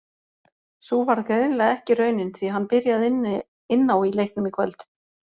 Sú varð greinilega ekki raunin því hann byrjaði inn á í leiknum í kvöld.